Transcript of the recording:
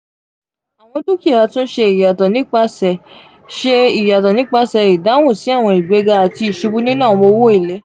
awọn dukia tun ṣe iyatọ nipasẹ ṣe iyatọ nipasẹ idahun si awọn igbega ati isubu ninu awọn owo ele.